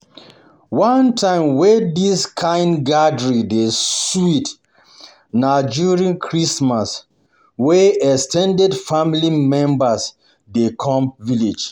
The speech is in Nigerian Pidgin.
One time wey this kind gathering dey um sweet na during na during Christmas wey ex ten ded family members um dey come village.